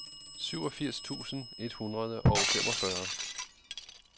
syvogfirs tusind et hundrede og femogfyrre